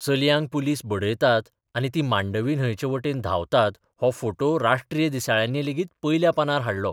चलयांक पुलीस बडयतात आनी तीं मांडवी न्हंयचे बाटेन धांवतात हो फोटो राष्ट्रीय दिसाळ्यांनी लेगीत पयल्या पानार हाडलो.